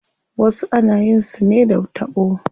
Wasu ana yin su ne da taɓo.